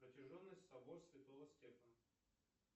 протяженность собор святого стефана